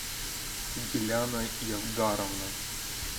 гиляна явгаровна